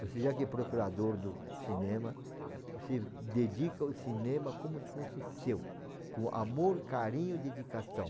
Você já que é procurador do cinema, você dedica o cinema como se fosse seu, com amor, carinho, dedicação.